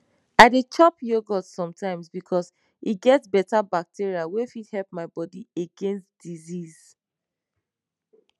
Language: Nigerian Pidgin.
i dey chop yogurt sometimes because e get beta bacteria wey fit help my bodi against disease